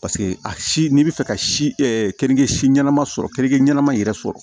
paseke a si n'i bɛ fɛ ka si ɛ keninke si ɲɛnama sɔrɔ keninke ɲɛnama in yɛrɛ sɔrɔ